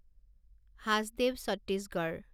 Hasdeo Chhattisgarh